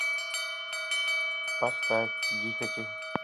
поставь дихати